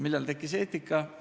Millal tekkis eetika?